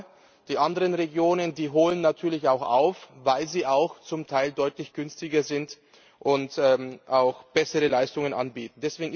Aber die anderen Regionen holen natürlich auch auf, weil sie auch zum Teil deutlich günstiger sind und auch bessere Leistungen anbieten.